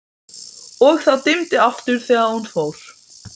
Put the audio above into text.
og það dimmdi aftur þegar hún fór.